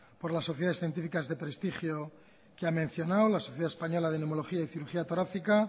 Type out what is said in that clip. por las sociedades científicas de prestigio que ha mencionado la sociedad española de neumología y cirugía torácica